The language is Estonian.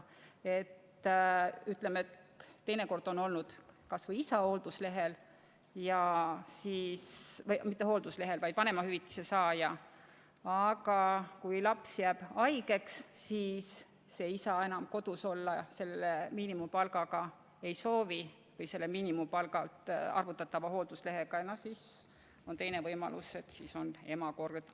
On teada, et teinekord on olnud isa vanemahüvitise saaja, aga kui laps jääb haigeks, siis isa enam kodus selle miinimumpalga pealt arvutatava hoolduslehe tasuga olla ei soovi ja siis on ema kord.